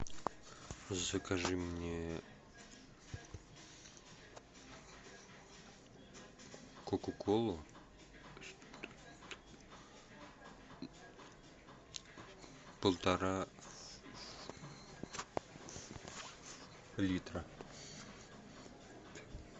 закажи мне кока колу полтора литра